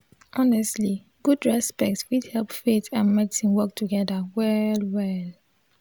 honestly gud respect fit hep faith and medicine work togeda well-well.